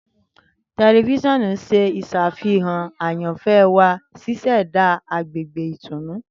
Tẹlifisiọnu ṣe iṣafihan ayanfẹ wa, ṣiṣẹda agbegbe itunu.